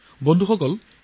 বন্ধু বান্ধৱীসকল